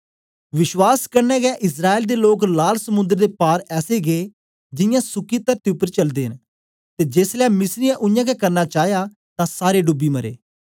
विश्वास कन्ने गै इस्राएल दे लोक लाल समुंद्र दे पार ऐसे गै जियां सुक्की तरती उपर चलदे न ते जेसलै मिस्रीयैं उयांगै करना चाया तां सारे डूबी मरे